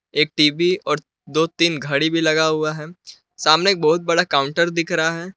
एक टीवी और दो तीन घड़ी भी लगा हुआ है सामने एक बहुत बड़ा काउंटर दिख रहा है।